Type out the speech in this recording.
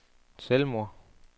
selvmord